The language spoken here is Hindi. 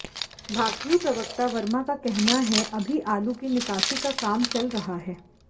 भाकियू प्रवक्ता वर्मा का कहना है अभी आलू की निकासी का काम चल रहा है